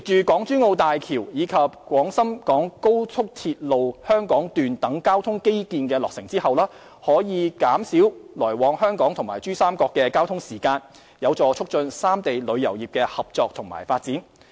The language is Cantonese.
港珠澳大橋及廣深港高速鐵路香港段等交通基建落成後，來往香港與珠三角將更省時，有助促進三地旅遊業的合作和發展。